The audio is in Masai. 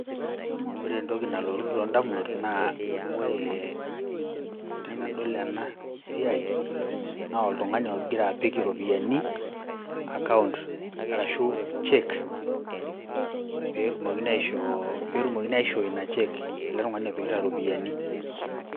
Ore entoki nalotu too indamunot naa oree tenadol ena siai naa oltungani ogira aapik ropiyani account arashu cheque peetumokini aishoo ina cheque ale tungani opikita iropiyiani.